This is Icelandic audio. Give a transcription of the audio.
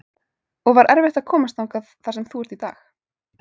og var erfitt að komast þangað þar sem þú ert í dag?